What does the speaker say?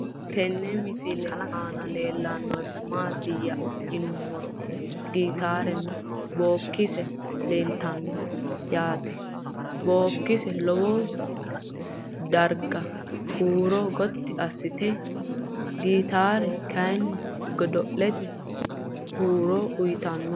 Tenne misile aanna la'neemmori maattiya yinummoro gittare nna bokkise leelittanno yaatte bokkise lowo dagara huuro gotti assatte , gitaarre kayi godo'latte horo uyiittanno